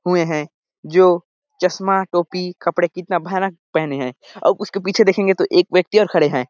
हुए हैं जो चश्मा टोपी कपड़े कितना भयानक पहने हैं अऊ उसके पीछे देखेंगे तो एक व्यक्ति और खड़े हैं।